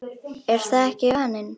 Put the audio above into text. Er það ekki vaninn?